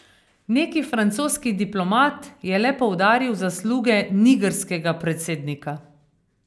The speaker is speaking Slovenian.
Neki francoski diplomat je le poudaril zasluge nigrskega predsednika.